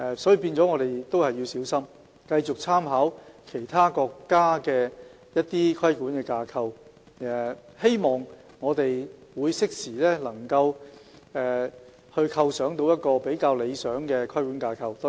因此，我們要小心繼續參考其他國家的規管架構，希望能適時構想到一個比較理想的規管架構。